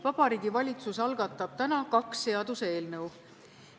Vabariigi Valitsus algatab täna kaks seaduseelnõu.